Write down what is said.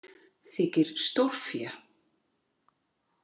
Þykir stórfé.